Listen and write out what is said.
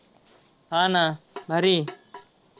हा ना भारी.